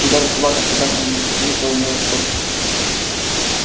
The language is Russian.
и даже собака служебная на цепи полное сходство